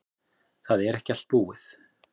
Það er ekki allt búið.